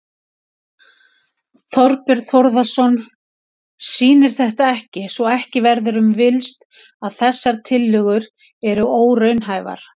Þorbjörn Þórðarson: Sýnir þetta ekki, svo ekki verður um villst, að þessar tillögur eru óraunhæfar?